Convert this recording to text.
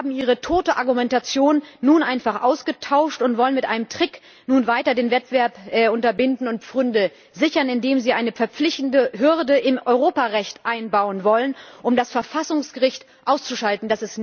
Sie haben Ihre tote Argumentation nun einfach ausgetauscht und wollen mit einem Trick nun weiter den Wettbewerb unterbinden und Pfründe sichern, indem sie eine verpflichtende Hürde im Europarecht einbauen wollen, um das Verfassungsgericht auszuschalten.